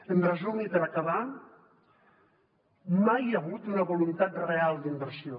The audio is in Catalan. en resum i per acabar mai hi ha hagut una voluntat real d’inversió